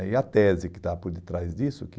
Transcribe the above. E a tese que está por detrás disso é que